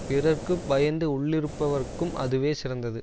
பிறருக்கு பயந்து உள்ளிருப்பவர்க்கும் அதுவே சிறந்தது